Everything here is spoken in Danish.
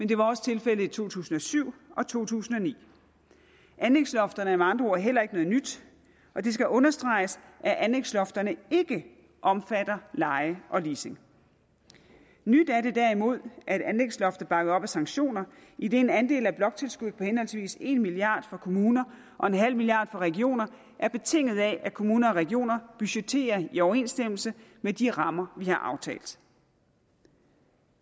det var også tilfældet i to tusind og syv og to tusind og ni anlægslofterne er med andre ord heller ikke noget nyt og det skal understreges at anlægslofterne ikke omfatter leje og leasing nyt er det derimod at anlægsloftet er bakket op af sanktioner idet en andel af bloktilskuddet på henholdsvis en milliard kroner for kommuner og nul milliard kroner for regioner er betinget af at kommuner og regioner budgetterer i overensstemmelse med de rammer vi har aftalt